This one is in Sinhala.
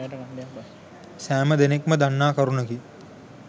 සෑම දෙනකුම දන්නා කරුණකි.